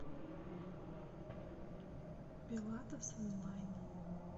пилатес онлайн